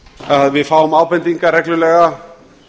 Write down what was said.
að við fáum ábendingar reglulega